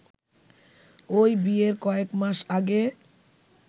ওই বিয়ের কয়েক মাস আগে